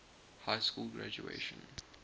high school graduation